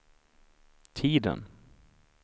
tiden